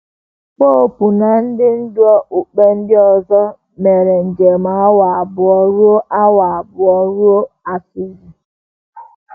Popu na ndị ndú okpukpe ndị ọzọ mere njem awa abụọ ruo awa abụọ ruo Assisi.